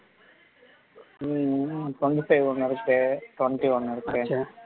உம் twenty-five ஒண்ணு இருக்கு twenty ஒண்ணு இருக்கு